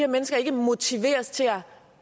mennesker ikke motiveres til at